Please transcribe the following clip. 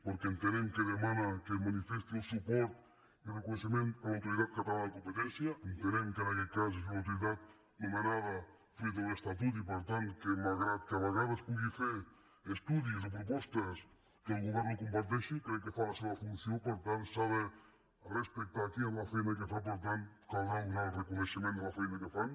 perquè entenem que demana que es manifesti el suport i reconeixement a l’autoritat cata·lana de competència que entenem que en aquest cas és una autoritat nomenada fruit de l’estatut i per tant que malgrat que a vegades pugui fer estudis o pro·postes que el govern no comparteixi crec que fa la seva funció per tant s’ha respectar aquí la feina que fa i per tant caldrà donar el reconeixement de la fei·na que fan